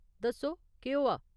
दस्सो केह् होआ ।